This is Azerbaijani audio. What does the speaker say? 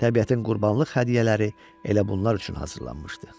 Təbiətin qurbanlıq hədiyyələri elə bunlar üçün hazırlanmışdı.